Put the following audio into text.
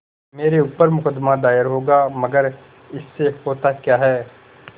मेरे ऊपर मुकदमा दायर होगा मगर इससे होता क्या है